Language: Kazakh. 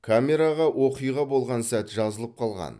камераға оқиға болған сәт жазылып қалған